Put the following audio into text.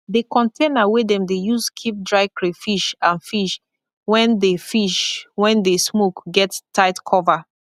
the container wey dem dey use keep dry crayfish and fish wen dey fish wen dey smoke get tight cover